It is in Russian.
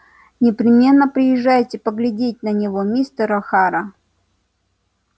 непременно приезжайте поглядеть на него мистер охара